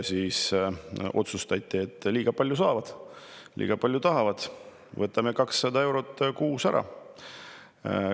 Otsustati, et nad saavad liiga palju, tahavad liiga palju, võtame neilt ära 200 eurot kuus.